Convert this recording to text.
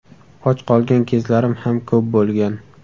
Och qolgan kezlarim ham ko‘p bo‘lgan.